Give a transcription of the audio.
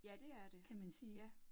Ja, det er det, ja